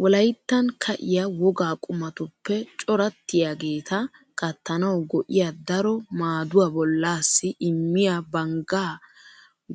Wolayttan ka'iya wogaa qumatuppe corattiyageeta kattanawu go''iya daro maaduwa bollaassi immiya banggaa